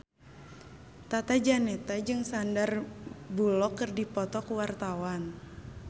Tata Janeta jeung Sandar Bullock keur dipoto ku wartawan